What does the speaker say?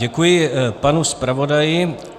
Děkuji panu zpravodaji.